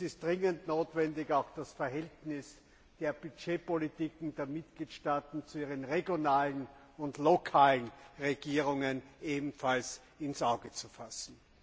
Es ist dringend notwendig, auch das Verhältnis der Budgetpolitiken der Mitgliedstaaten zu ihren regionalen und lokalen Regierungen ins Auge zu fassen.